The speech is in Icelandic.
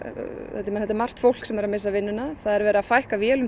þetta er þetta er margt fólk sem er að missa vinnuna það er verið að fækka vélum